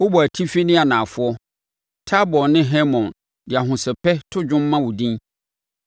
Wobɔɔ atifi ne anafoɔ. Tabor ne Hermon de ahosɛpɛ to dwom ma wo din.